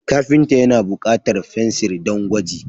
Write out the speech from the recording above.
Kafinta ya na bukatar fensir don gwaji.